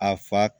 A fa